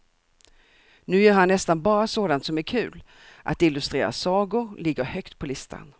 Nu gör han nästan bara sådant som är kul, att illustrera sagor ligger högt på listan.